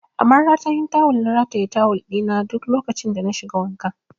A maratayin tawul na ke rataye tawul ɗi na duk lokacin da na shiga wanka